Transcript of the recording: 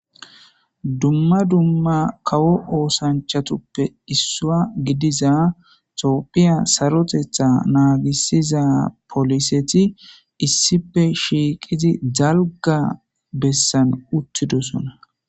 Dumma dumma kawo oosanchatuppe issua gidiza toopphiya sarotetha naagisiza poliseti issife shiiqizi zalga bessan uttidosona